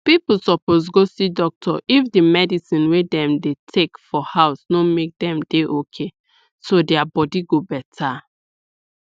people suppose go see doctor if the medicine wey dem dey take for house no make dem dey okayso dia body go better